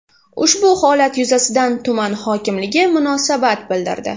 Ushbu holat yuzasidan tuman hokimligi munosabat bildirdi .